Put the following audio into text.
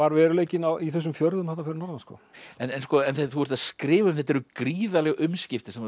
veruleikinn í þessum fjörðum þarna fyrir norðan sko en sko en þú ert að skrifa um þetta eru gríðarleg umskipti sem þú